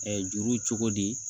juru cogo di